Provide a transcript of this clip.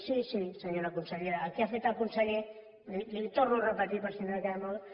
sí sí senyora consellera el que ha fet el conseller li ho torno a repetir per si no ha quedat molt